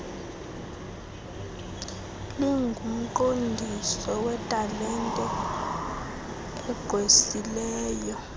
lingumqondiso wetalente egqwesileyo